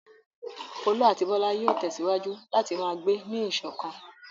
Folú àti Bọ́lá yóò tẹ̀síwájú láti máa gbé ní ìṣọ̀kan.